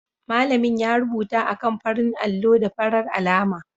Malamin ya rubuta a kan faran allo da farar alama